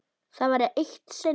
Það var eitt sinn.